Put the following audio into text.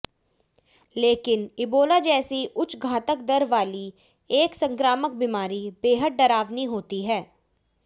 लेकिन इबोला जैसी उच्च घातक दर वाली एक संक्रामक बीमारी बेहद डरावनी होती है